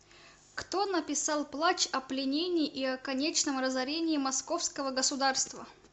кто написал плач о пленении и о конечном разорении московского государства